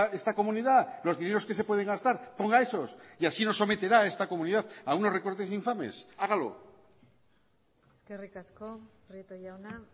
esta comunidad los dineros que se pueden gastar ponga esos y así no someterá a esta comunidad a unos recortes infames hágalo eskerrik asko prieto jauna